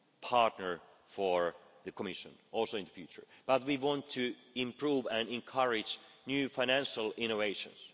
partner for the Commission also in the future but we want to improve and encourage new financial innovations.